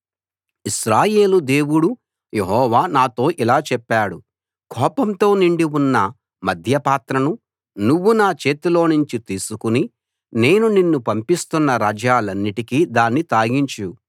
ఇశ్రాయేలు దేవుడు యెహోవా నాతో ఇలా చెప్పాడు కోపంతో నిండి ఉన్న మద్యపాత్రను నువ్వు నా చేతిలోనుంచి తీసుకుని నేను నిన్ను పంపిస్తున్న రాజ్యాలన్నిటికీ దాన్ని తాగించు